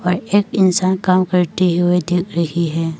ये एक इंसान काम करते हुए दिख रही है।